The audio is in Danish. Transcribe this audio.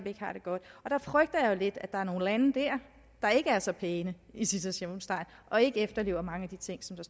ikke har det godt og der frygter jeg lidt at der er nogle lande der ikke er så pæne i citationstegn og ikke efterlever mange af de ting som